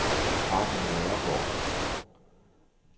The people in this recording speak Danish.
Hardy Nørregaard